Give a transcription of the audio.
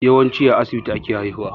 Yawanci a asibiti ake haihuwa